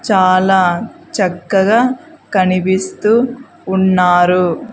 చాలా చక్కగా కనిపిస్తూ ఉన్నారు.